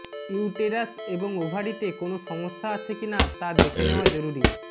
uterus এবং ওভারিতে কোনও সমস্যা আছে কিনা তা দেখে নেওয়া জরুরি